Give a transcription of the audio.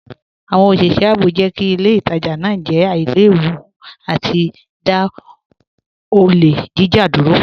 Awọn oṣiṣẹ ààbò jẹ́ kí ilẹ̀ ìtajà naa jẹ́ àìlèwú àti dá ọlẹ̀ jíjà dúró.